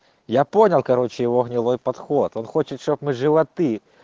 я понял короче его гнилой подход он хочет чтоб мы животы